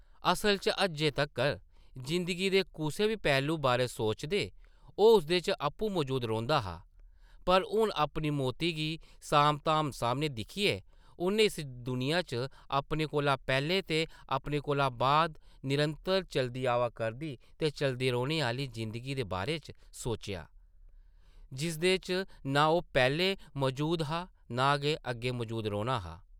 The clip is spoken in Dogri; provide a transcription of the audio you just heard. असला च अज्जै तक्कर जिंदगी दे कुसै बी पैह्लू बारै सोचदे ओह् उसदे च आपूं मजूद रौंह्दा हा, पर हून अपनी मौती गी सामधाम सामनै दिक्खियै उʼन्नै इस दुनिया च अपने कोला पैह्लें ते अपने कोला बाद निरंतर चलदी आवा करदी ते चलदी रौह्ने आह्ली जिंदगी दे बारे च सोचेआ, जिसदे च नां ओह् पैह्लें मजूद हा ते नां गै अग्गें मजूद रौह्ना हा ।